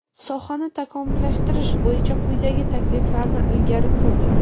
sohani takomillashtirish bo‘yicha quyidagi takliflarni ilgari surdi:.